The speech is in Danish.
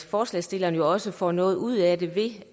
forslagsstillerne jo også får noget ud af det